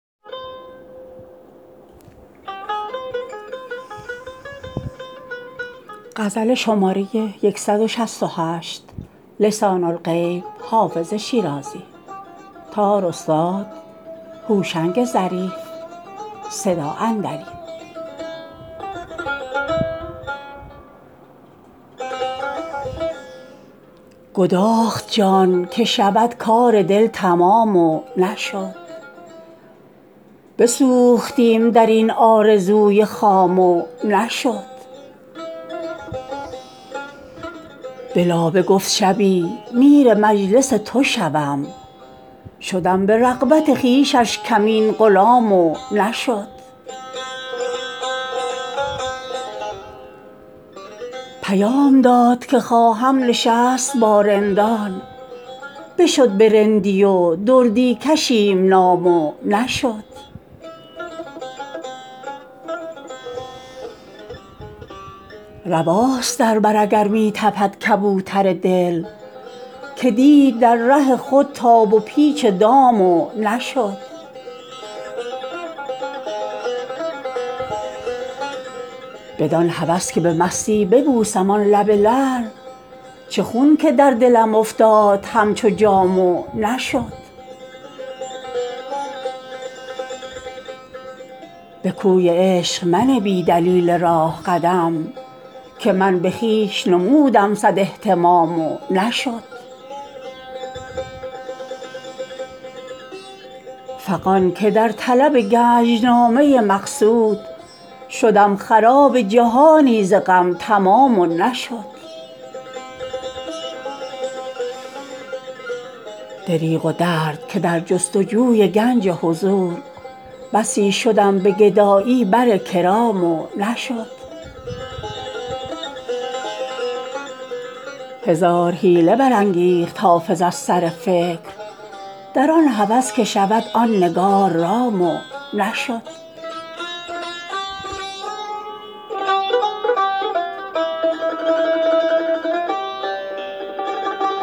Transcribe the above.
گداخت جان که شود کار دل تمام و نشد بسوختیم در این آرزوی خام و نشد به لابه گفت شبی میر مجلس تو شوم شدم به رغبت خویشش کمین غلام و نشد پیام داد که خواهم نشست با رندان بشد به رندی و دردی کشیم نام و نشد رواست در بر اگر می تپد کبوتر دل که دید در ره خود تاب و پیچ دام و نشد بدان هوس که به مستی ببوسم آن لب لعل چه خون که در دلم افتاد همچو جام و نشد به کوی عشق منه بی دلیل راه قدم که من به خویش نمودم صد اهتمام و نشد فغان که در طلب گنج نامه مقصود شدم خراب جهانی ز غم تمام و نشد دریغ و درد که در جست و جوی گنج حضور بسی شدم به گدایی بر کرام و نشد هزار حیله برانگیخت حافظ از سر فکر در آن هوس که شود آن نگار رام و نشد